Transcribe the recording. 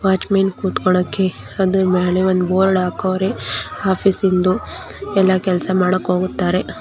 Watch man ಕುರ್ತಿಕೊಳಕ್ಕೆ ಅದ್ರ್ ಮೇಲೆ ಒಂದು ಬೋರ್ಡ್ ಹಕೌರೆ ಆಫೀಸ್ ಇಂದು ಎಲ್ಲ ಕೆಲ್ಸ ಮಾಡಾಕ್ ಹೋಗುತ್ತಾರೆ.